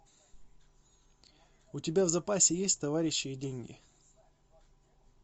у тебя в запасе есть товарищи и деньги